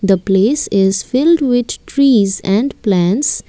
the place is filled with trees and plants.